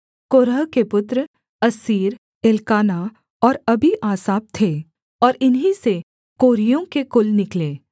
कोरह के पुत्र Assir Elkanah और अबीआसाप थे और इन्हीं से कोरहियों के कुल निकले